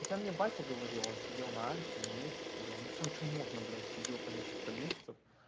хотя мне батя говорил он сидел на альфе на мефе сидел на всем чем можно блять сидел по несколько месяцев